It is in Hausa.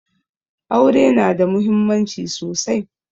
Aure na da muhimmanci sosai